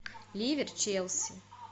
ливер челси